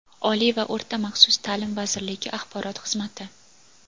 Oliy va o‘rta maxsus taʼlim vazirligi axborot xizmati.